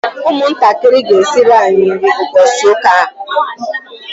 ụmụntakịrị ga-esiri anyị nri ụbọchị ụka a